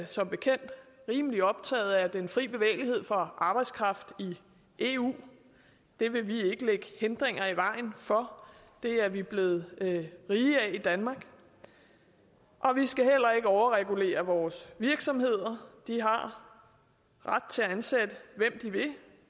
som bekendt rimelig optaget af den fri bevægelighed for arbejdskraft i eu det vil vi ikke lægge hindringer i vejen for det er vi blevet rige af i danmark vi skal heller ikke overregulere vores virksomheder de har ret til at ansætte hvem de vil